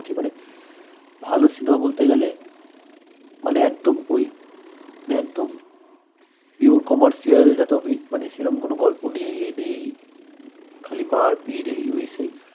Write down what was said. মানে ভাল cinema বলতে গেলে মানে একদম ঐ একদম pure commercial মানে সেরম কোনো গল্প নেই এই নেই খালি মারপিট এই ঐ সেই